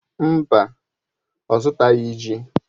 Mba, ọ zụtaghị ji.